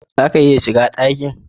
Zaka iya shiga dakin?